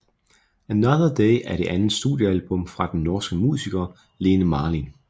Another Day er det andet studiealbum fra den norske musiker Lene Marlin